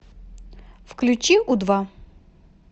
включи у два